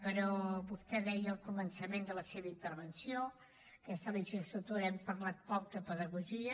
però vostè deia al començament de la seva intervenció aquesta legislatura hem parlat poc de pedagogia